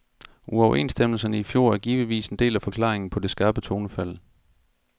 Uoverenstemmelserne i fjor er givetvis en del af forklaringen på det skarpe tonefald.